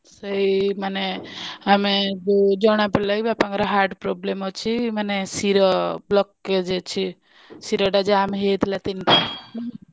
ସେଇ ମାନେ ଆମେ ଜଣା ପଡ଼ିଲାକି ବାପାଙ୍କର heart problem ଅଛି ମାନେ ଶିର blockage ଅଛି ଶିର ଟା ଜାମେ ହେଇଯାଇଥିଲା ତିନିଟା।